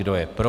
Kdo je pro?